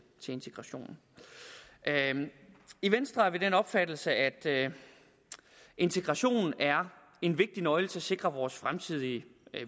integration i venstre er vi af den opfattelse at integration er en vigtig nøgle til at sikre vores fremtidige